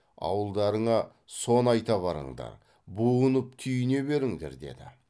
ауылдарыңа соны айта барыңдар буынып түйіне беріңдер деді